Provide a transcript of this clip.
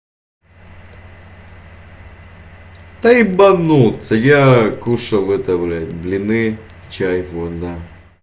да ебанутся я кушал это блять блины чай вот да